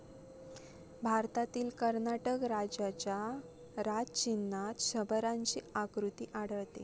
भारतातील कर्नाटक राज्याच्या राजचिन्हात शरभाची आकृती आढळते.